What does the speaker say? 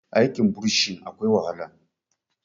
aikin bursin akwai wahala